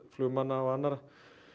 flugmanna og annarra